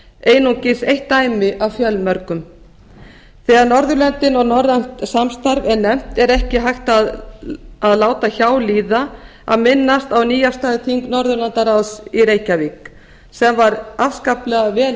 einungis eitt dæmi af fjölmörgum þegar norðurlöndin og norrænt samstarf er nefnt er ekki hægt að láta hjá líða að minnast á nýafstaðið þing norðurlandaráðs í reykjavík sem var afskaplega vel